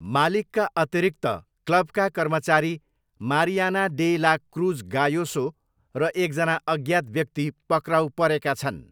मालिकका अतिरिक्त क्लबका कर्मचारी Mariana de la Cruz Gayoso र एकजना अज्ञात व्यक्ति पक्राउ परेका छन्।